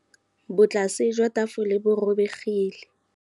Botlasê jwa tafole bo robegile.